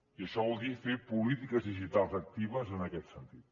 i això vol dir fer polítiques digitals actives en aquest sentit